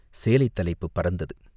சேலைத் தலைப்புப் பறந்தது.